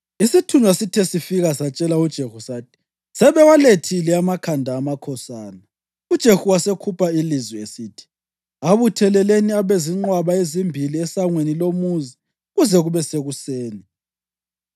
Isithunywa sithe sifika satshela uJehu sathi: “Sebewalethile amakhanda amakhosana.” UJehu wasekhupha ilizwi esithi, “Abutheleleni abe zinqwaba ezimbili esangweni lomuzi kuze kube sekuseni.”